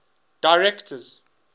directors